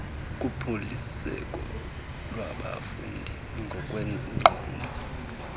kuphuliseko lwabafundi ngokwengqondo